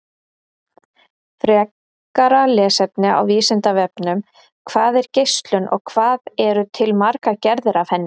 Frekara lesefni á Vísindavefnum: Hvað er geislun og hvað eru til margar gerðir af henni?